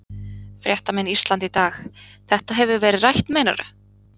Fréttamenn Ísland í dag: Þetta hefur verið rætt meinarðu?